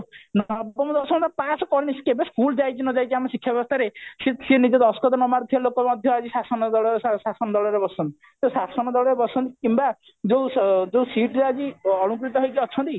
ନବମ ଦଶମ ପାସ କରି କେବେ school ଯାଇଛି କି ନ ଯାଇଛି ଆମ ଶିକ୍ଷା ବ୍ୟବସ୍ଥାରେ ସେ ନିଜ ଦସ୍ତଖତ ନ ମାରୁଥିବା ଲୋକ ମଧ୍ୟ ଆମ ସମାଜରେ ଶାସନ ଶାସନ ଦଳରେ ବସନ୍ତି ସେ ଶଶନ ଦଳରେ ବସନ୍ତି କିମ୍ବା ଯୋଉ ଯୋଉ seat ରେ ଆଜି ଅଳଙ୍କୃତ ହେଇ ଅଛନ୍ତି